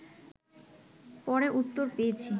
পরে উত্তর পেয়েছি